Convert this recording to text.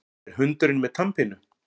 Er hundurinn með tannpínu?